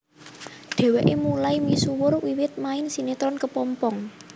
Dheweke mulai misuwur wiwit main sinetron Kepompong